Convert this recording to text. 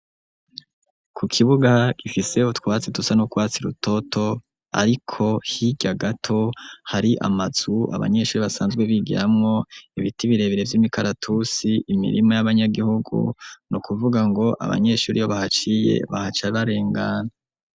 Ku kibuga gifiseho twatsi tusa no Rwatsi rutoto ariko hirya gato hari amazu abanyeshuri basanzwe bigiramo ibiti birebere vy'imikaratusi imirimo y'abanyagihugu no kuvuga ngo abanyeshuri ibo bahaciye bahaca barengana.